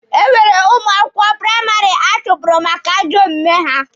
E nwere ụmụ akwụkwọ praịmarị achụpụrụ maka ajọ omume ha.